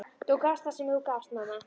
Þú gafst það sem þú gast, mamma.